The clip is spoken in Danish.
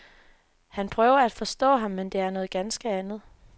Han prøver at forstå ham, men det er noget ganske andet.